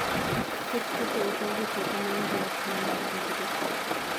thoth puothe okaw gi teko ma onge ratiro mar betgo